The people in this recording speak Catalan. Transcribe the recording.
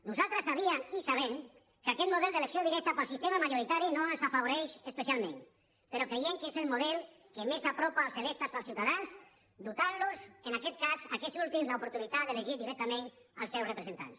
nosaltres sabíem i sabem que aquest model d’elecció directa pel sistema majoritari no ens afavoreix especialment però creiem que és el model que més apropa els electes als ciutadans i els dota en aquest cas a aquests últims de l’oportunitat d’elegir directament els seus representants